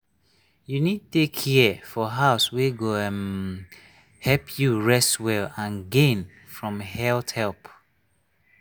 you need take care for house wey go um help you rest well and gain from health help.